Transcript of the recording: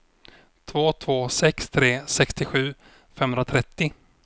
två två sex tre sextiosju femhundratrettio